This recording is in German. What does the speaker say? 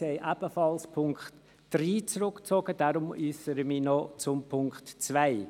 Sie haben auch den Punkt 3 zurückgezogen, weshalb ich mich noch zum Punkt 2 äussere.